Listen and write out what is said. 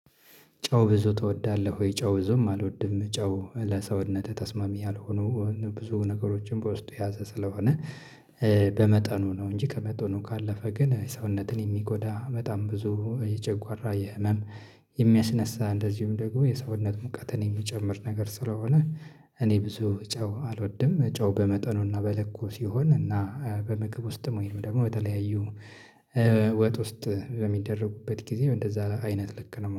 ጨው ብዙ ትወዳለህ ወይ? ጨው ብዙም አልወድም ጨው ለሰውነት ተስማሚ ያልሆኑ ብዙ ነገሮችን በውስጡ የያዘ ስለሆነ በመጠኑ ነው እንጂ ከመጠኑ ካለፈ ግን ሰውነትን የሚጎዳ በጣም ብዙ የጨጓራ የህመም የሚያስነሳ እንደዚሁም ደግሞ የሰውነት ሙቀትን የሚጨምር ነገር ስለሆነ እኔ ብዙ ጨው አልወድም። ጨው በመጠኑና በልኩ ሲሆን እና በምግብ ውስጥም ወይም ደግሞ በተለያዩ ወጥ ውስጥ በሚደረግበት ጊዜ እንደዛ አይነት ልክ ነው።